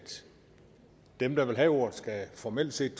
dem der vil have ordet formelt set